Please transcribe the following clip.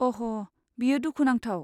अह, बेयो दुखु नांथाव।